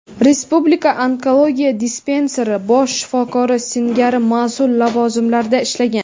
Respublika onkologiya dispanseri bosh shifokori singari mas’ul lavozimlarda ishlagan.